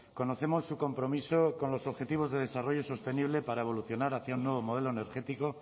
conocemos su compromiso con los objetivos de desarrollo sostenible para evolucionar hacia un nuevo modelo energético